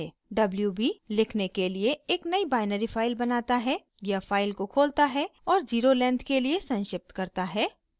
wb = लिखने के लिए एक नयी बाइनरी फाइल बनाता है या फाइल को खोलता है और ज़ीरो लेंथ के लिए संक्षिप्त करता है